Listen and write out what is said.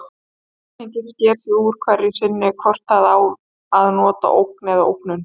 Samhengið sker úr hverju sinni hvort við á að nota ógn eða ógnun.